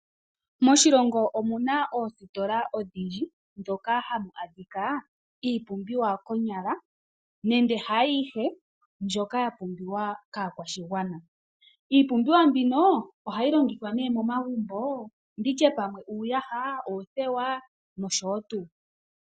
Moshilongo omuna oositola odhindji, ndhoka hadhi adhika iipumbiwa nande haayihe ndjoka yapumbiwa kaakwashigwana, iipumbiwa mbino oha yi longithwa momagumbo ngaashi uuyaha, oothewa nosho tuu.